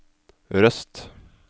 Røst